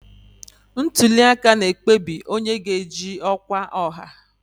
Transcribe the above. Ntuli aka na-ekpebi onye ga-eji ọkwa ọha.